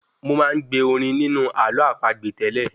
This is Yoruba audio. Mo máa ń gbe orin nínú àló àpagbè tẹ́lẹ̀